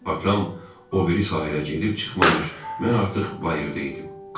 Atam o biri sahilə gedib çıxmamış mən artıq bayırda idim.